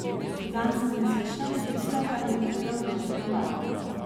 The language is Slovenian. Zanj sem le slišal, tisto, kar mi je povedal doktor Naval.